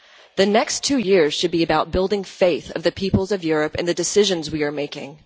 The next two years should be about building the faith of the peoples of Europe in the decisions we are making.